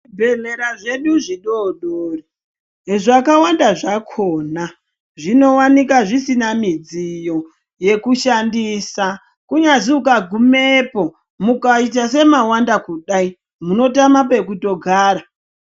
Zvibhedhlera zvedu zvidodori, zvakawanda zvakhona, zvinowanika zvisina midziyo yekushandisa, kunyazi ukagumepo, mukaita semawanda kudai, munotama pekutogara.